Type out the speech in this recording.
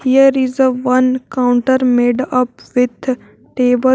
there is a one counter made up with table.